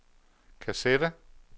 kassette